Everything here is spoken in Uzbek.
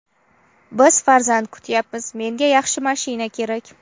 Biz farzand kutyapmiz, menga yaxshi mashina kerak.